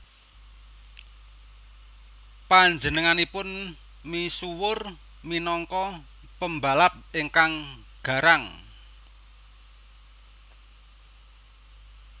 Panjenenganipun misuwur minangka pembalap ingkang garang